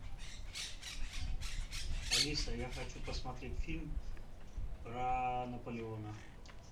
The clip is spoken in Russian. алиса я хочу посмотреть фильм про наполеона